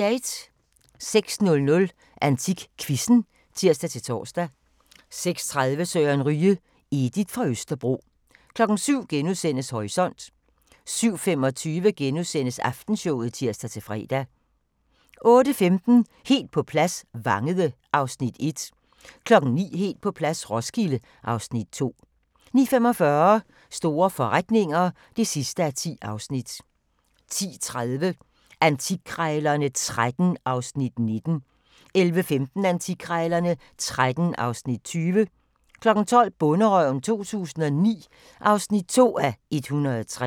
06:00: AntikQuizzen (tir-tor) 06:30: Søren Ryge: Edith fra Østerbro 07:00: Horisont * 07:25: Aftenshowet *(tir-fre) 08:15: Helt på plads – Vangede (Afs. 1) 09:00: Helt på plads - Roskilde (Afs. 2) 09:45: Store forretninger (10:10) 10:30: Antikkrejlerne XIII (Afs. 19) 11:15: Antikkrejlerne XIII (Afs. 20) 12:00: Bonderøven 2009 (2:103)